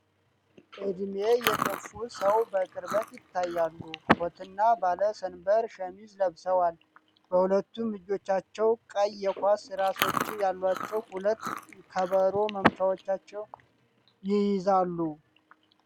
እድሜ የገፉ ሰው በቅርበት ይታያሉ። ኮት እና ባለሰንበር ሸሚዝ ለብሰዋል። በሁለቱም እጆቻቸው ቀይ የኳስ ራሶች ያሏቸው ሁለት ከበሮ መምቻዎች ይይዛሉ።